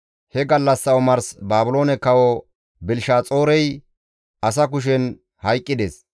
He gallassa omars Baabiloone kawo Belishaxoorey asa kushen hayqqides.